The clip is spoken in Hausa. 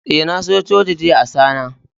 Eh, na zo coci jiya Asana.